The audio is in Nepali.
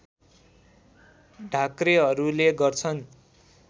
ढाक्रेहरूले गर्छन्